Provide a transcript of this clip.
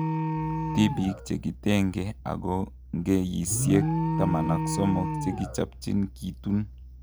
Tipik chekitenge oko ngeyisiek 13 kechapchin kitun